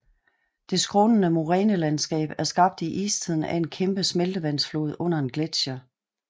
Det skrånende morænelandskab er skabt i istiden af en kæmpe smeltevandsflod under en gletsjer